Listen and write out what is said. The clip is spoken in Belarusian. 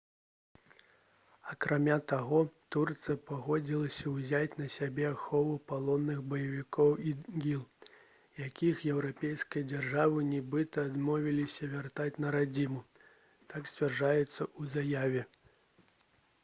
акрамя таго турцыя пагадзілася ўзяць на сябе ахову палонных баевікоў іділ якіх еўрапейскія дзяржавы нібыта адмовіліся вяртаць на радзіму так сцвярджаецца ў заяве